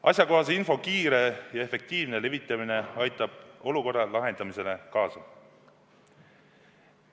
Asjakohase info kiire ja efektiivne levitamine aitab olukorra lahendamisele kaasa.